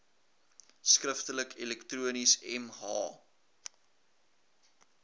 skriftelik elektronies mh